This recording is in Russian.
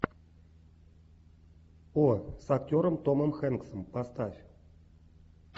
о с актером томом хэнксом поставь